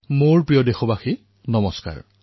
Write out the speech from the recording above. মোৰ মৰমৰ দেশবাসীসকল নমস্কাৰ